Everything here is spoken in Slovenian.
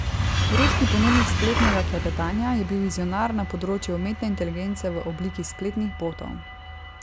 Ruski ponudnik spletnega klepetanja je bil vizionar na področju umetne inteligence v obliki spletnih botov.